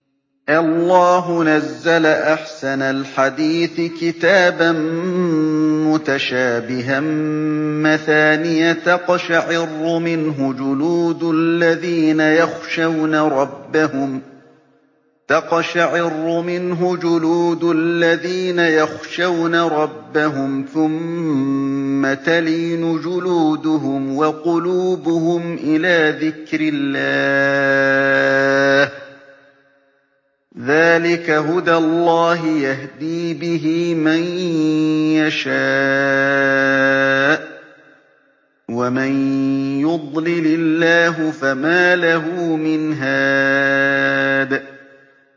اللَّهُ نَزَّلَ أَحْسَنَ الْحَدِيثِ كِتَابًا مُّتَشَابِهًا مَّثَانِيَ تَقْشَعِرُّ مِنْهُ جُلُودُ الَّذِينَ يَخْشَوْنَ رَبَّهُمْ ثُمَّ تَلِينُ جُلُودُهُمْ وَقُلُوبُهُمْ إِلَىٰ ذِكْرِ اللَّهِ ۚ ذَٰلِكَ هُدَى اللَّهِ يَهْدِي بِهِ مَن يَشَاءُ ۚ وَمَن يُضْلِلِ اللَّهُ فَمَا لَهُ مِنْ هَادٍ